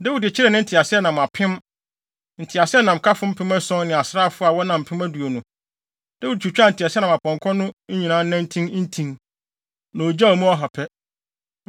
Dawid kyeree ne nteaseɛnam apem, nteaseɛnamkafo mpem ason ne asraafo a wɔnam mpem aduonu. Dawid twitwaa nteaseɛnam apɔnkɔ no nyinaa nantin ntin, na ogyaw mu ɔha pɛ.